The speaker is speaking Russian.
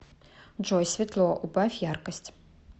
джой светло убавь яркость